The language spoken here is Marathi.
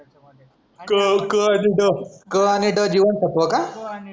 क क आणि ड, क आणि ड हे जीवनसत्व असतं का